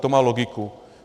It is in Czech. To má logiku.